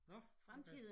Nå okay